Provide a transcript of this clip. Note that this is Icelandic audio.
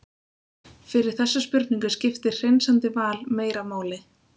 fyrir þessa spurningu skiptir hreinsandi val meira máli